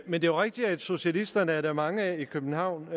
men det er rigtigt at socialister er der mange af i københavn